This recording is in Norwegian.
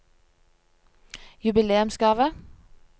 jubileumsgave